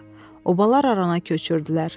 Obalar arana köçürdülər.